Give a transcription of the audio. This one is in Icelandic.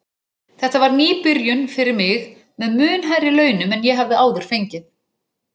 Þetta var ný byrjun fyrir mig með mun hærri launum en ég hafði áður fengið.